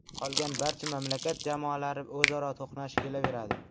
Qolgan barcha mamlakat jamoalari o‘zaro to‘qnash kelaveradi.